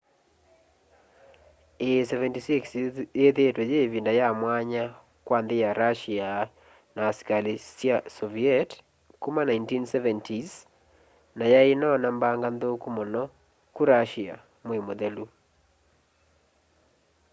ii -76 yithiitwe yi ivinda yamwanya kwa nthi ya russia na asikali sya soviet kuma 1970s na yai inoona mbanga nthuku muno ku russia mwei muthelu